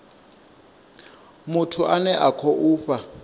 muthu ane a khou fha